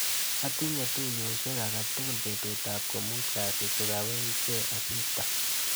Atinye tuiyoshek akatukul betutap komut kasit kokawechke asista.